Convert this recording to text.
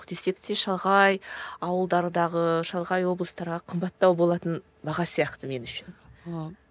десек те шалғай ауылдардағы шалғай облыстарға қымбаттау болатын баға сияқты мен үшін ыыы